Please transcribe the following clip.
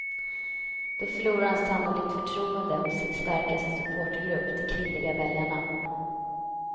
Då förlorar han sannolikt förtroende hos sin starkaste supportergrupp, de kvinnliga väljarna.